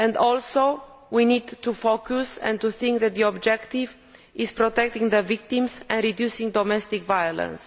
Also we need to focus and think that the objective is protecting the victims and reducing domestic violence